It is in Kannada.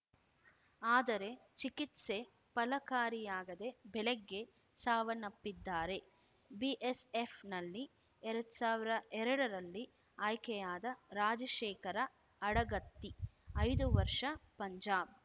ಆದರೆ ಚಿಕಿತ್ಸೆ ಫಲಕಾರಿಯಾಗಿದೆ ಬೆಳಗ್ಗೆ ಸಾವನ್ನಪ್ಪಿದ್ದಾರೆ ಬಿಎಸ್‌ಎಫ್‌ ನಲ್ಲಿ ಎರಡು ಸಾವಿರ ಎರಡರಲ್ಲಿ ಆಯ್ಕೆಯಾದ ರಾಜಶೇಖರ ಅಡಗತ್ತಿ ಐದು ವರ್ಷ ಪಂಜಾಬ್‌